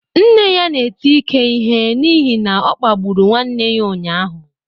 Nne ya na-eti Ike ihe n'ihi na ọ kpagburu nwanne ya ụnyahụ